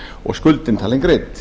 og skuldin talin greidd